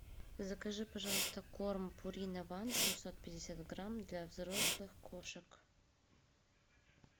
закажи пожалуйста корм пурина ван семьсот пятьдесят грамм для взрослых кошек